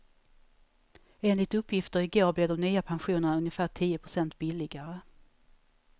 Enligt uppgifter i går blir de nya pensionerna ungefär tio procent billigare.